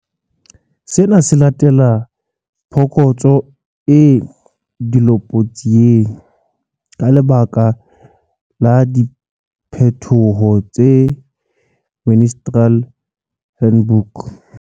Sena se latela phokotso e dilopotsieng, ka lebaka la diphetoho tse Ministerial Handbook.